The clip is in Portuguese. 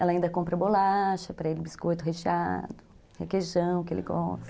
Ela ainda compra bolacha para ele, biscoito recheado, requeijão que ele gosta.